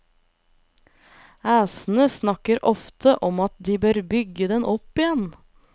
Æsene snakker ofte om at de bør bygge den opp igjen.